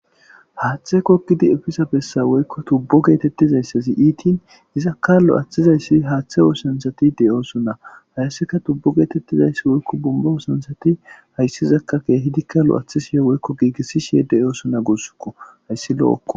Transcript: Haathe gogidi effiza bessa woykko tubo gettetizaysazi iitin izaka lo'ethizaysi haathe oosanchatti de'osona hayssika tuubo gettetizays woykko bomba oossanchati haysizaka kehidika lo'ethishe woykko gigisishe de'osona gussiko hayssi lo'okko.